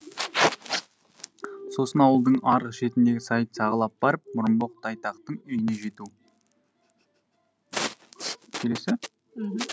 сосын ауылдың арғы шетіндегі сайды сағалап барып мұрынбоқ тайтақтың үйіне жету